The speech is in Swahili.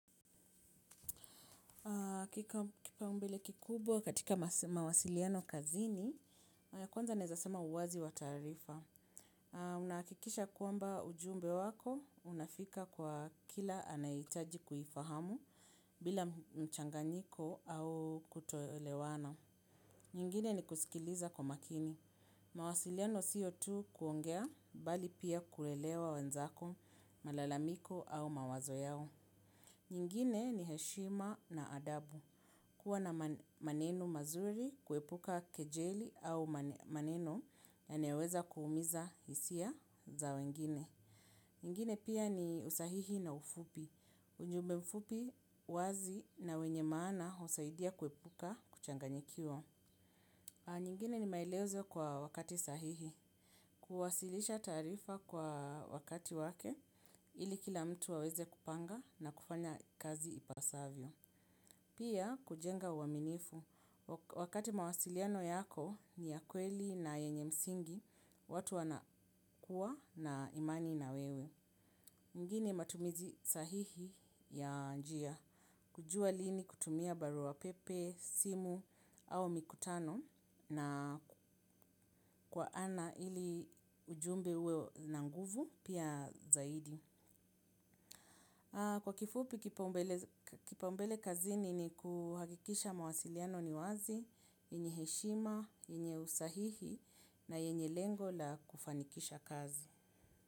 Kipa umbele kikubwa katika mawasiliano kazini, ya kwanza naeza sema uwazi wa taarifa. Unaakikisha kwamba ujumbe wako, unafika kwa kila anayeitaji kuifahamu bila mchanganyiko au kutoelewana. Nyingine ni kusikiliza kwa makini. Mawasiliano siyo tu kuongea, bali pia kuelewa wenzako, malalamiko au mawazo yao. Nyingine ni heshima na adabu. Kuwa na maneno mazuri kuepuka kejeli au maneno yanayo weza kuumiza hisia za wengine. Ingine pia ni usahihi na ufupi ujumbe mfupi wazi na wenye maana husaidia kuepuka kuchanyikiwa. Nyingine ni maelezo kwa wakati sahihi. Kuwasilisha taarifa kwa wakati wake ili kila mtu aweze kupanga na kufanya kazi ipasavyo. Pia kujenga uaminifu, wakati mawasiliano yako ni ya kweli na yenye msingi, watu wana kuwa na imani na wewe. Ingine matumizi sahihi ya njia, kujua lini kutumia barua pepe, simu au mikutano na kwa ana ili ujumbe uwe na nguvu pia zaidi. Kwa kifupi kipaumbele kazini ni kuhakikisha mawasiliano ni wazi, enye heshima, yenye usahihi na yenye lengo la kufanikisha kazi.